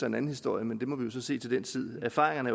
en anden historie men det må man så se til den tid erfaringerne